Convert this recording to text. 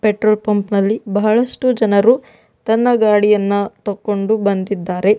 Petrol pump ನಲ್ಲಿ ಬಹಳಷ್ಟು ಜನರು ತನ್ನ ಗಾಡಿಯನ್ನು ತಕೊಂಡು ಬಂದಿದ್ದಾರೆ.